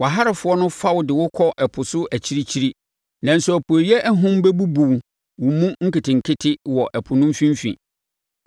Wʼaharefoɔ no fa wo de wo kɔ ɛpo so akyirikyiri nanso apueeɛ ahum bɛbubu wo mu nketenkete wɔ ɛpo no mfimfini.